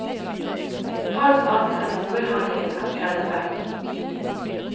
Alt annet enn hovedhandlingen er skrellet vekk.